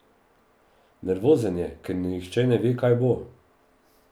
Nervozen je, ker nihče ne ve, kaj bo.